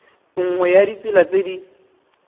nngwe ya ditsela tse di